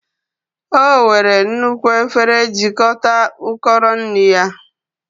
Ọ were nnukwu efere jikọta ukoro nri ya